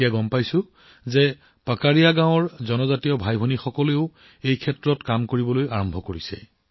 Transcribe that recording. এতিয়া মই গম পাইছো যে পাকাৰীয়া গাঁৱৰ জনজাতীয় ভাইভনীসকলে এই কাম আৰম্ভ কৰিছে